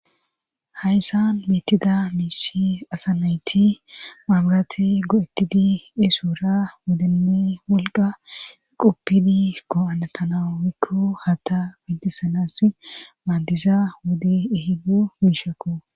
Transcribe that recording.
Hayssan miitida miisi asa nayti maamurati go'ettidi esuura wodenne wolqa quppidi ko'anatanawikko hata bintisanas maandiza wudi ehidu miishekko.